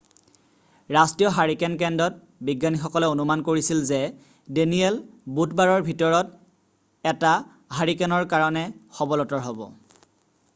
ৰাষ্ট্ৰীয় হাৰিকেন কেন্দ্ৰত বিজ্ঞানীসকলে অনুমান কৰিছিল যে ডেনিয়েল বুধবাৰৰ ভিতৰত এটা হাৰিকেনৰ কাৰণে সবলতৰ হ'ব৷